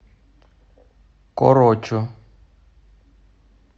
корочу